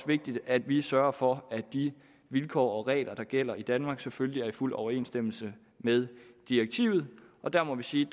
vigtigt at vi sørger for at de vilkår og regler der gælder i danmark selvfølgelig er i fuld overensstemmelse med direktivet og der må vi sige